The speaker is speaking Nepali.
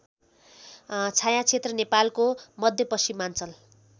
छायाक्षेत्र नेपालको मध्यपश्चिमाञ्चल